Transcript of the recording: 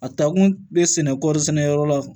A taa kun bɛ sɛnɛ kɔɔri sɛnɛyɔrɔ la